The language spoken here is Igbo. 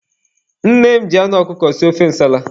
Nne m ji anụ ọkụkọ sie ofe nsala.